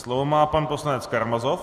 Slovo má pan poslanec Karamazov.